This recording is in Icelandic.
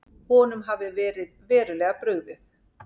Honum hafi verið verulega brugðið.